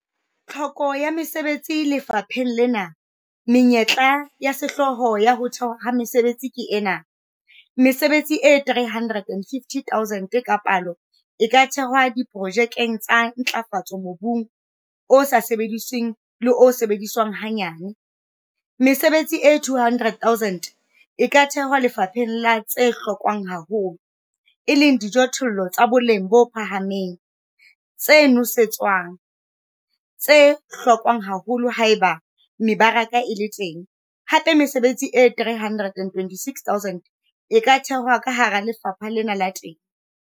Tlhoko ya mesebetsi lefapheng lena - menyetla ya sehlooho ya ho thehwa ha mesebetsi ke ena- mesebetsi e 350 0000 ka palo e ka thehwa diprojekeng tsa ntlafatso mobung o sa sebedisweng le o sebediswang hanyane, mesebetsi e 200 000 e ka thehwa lefapheng la tse hlokwang haholo, e leng dijothollo tsa boleng bo phahameng, tse nosetswang, tse hlokwang haholo haeba mebaraka e le teng, hape mesebetsi e 326 000 e ka thehwa ka hara lefapha lena la temo.